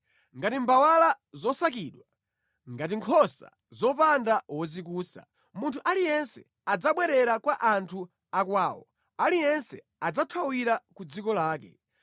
Ngati mbawala zosakidwa, ngati nkhosa zopanda wozikusa, munthu aliyense adzabwerera kwa anthu akwawo, aliyense adzathawira ku dziko lake.